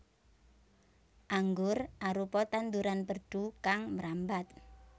Anggur arupa tanduran perdu kang mrambat